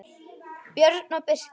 Björn og Birkir.